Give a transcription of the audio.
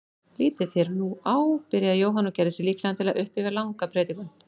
Lítið þér nú á, byrjaði Jóhann og gerði sig líklegan til að upphefja langa predikun.